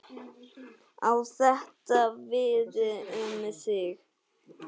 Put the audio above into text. Á þetta við um þig?